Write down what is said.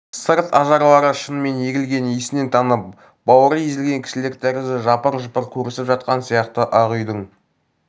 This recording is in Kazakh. сырт ажарлары шынымен егілген есінен танып бауыры езілген кісілер тәрізді жапыр-жұпыр көрісіп жатқан сияқты ақ үйдің